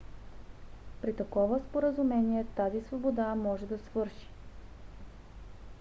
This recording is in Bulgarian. при такова споразумение тази свобода може да свърши